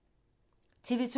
TV 2